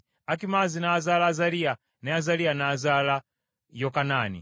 Akimaazi n’azaala Azaliya, ne Azaliya n’azaala Yokanaani;